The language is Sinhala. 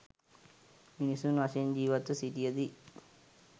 මිනිසුන් වශයෙන් ජීවත්ව සිටියදී